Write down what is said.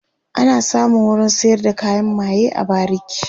ana samun wurin sayar da kayan maye a bariki